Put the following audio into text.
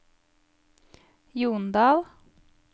Jondal